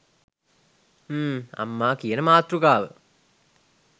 හ්ම් අම්මා කියන මාතෘකාව